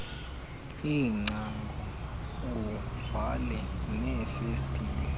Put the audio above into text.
iingcango uvale neefestile